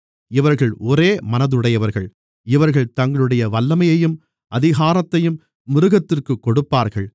இவர்கள் ஒரே மனதுடையவர்கள் இவர்கள் தங்களுடைய வல்லமையையும் அதிகாரத்தையும் மிருகத்திற்குக் கொடுப்பார்கள்